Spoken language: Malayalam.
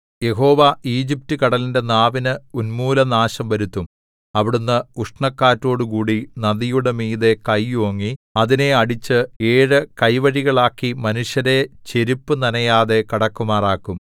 യഹോവ ഈജിപ്റ്റുകടലിന്റെ നാവിനു ഉന്മൂലനാശം വരുത്തും അവിടുന്ന് ഉഷ്ണക്കാറ്റോടുകൂടി നദിയുടെ മീതെ കൈ ഓങ്ങി അതിനെ അടിച്ച് ഏഴു കൈവഴികളാക്കി മനുഷ്യരെ ചെരിപ്പു നനയാതെ കടക്കുമാറാക്കും